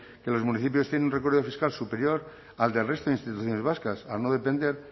que los municipios tienen un recorrido fiscal superior al del resto de instituciones vascas al no depender